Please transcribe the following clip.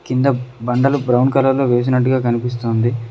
కింద బండలు brown colour లో వేసినట్టుగా కనిపిస్తోంది.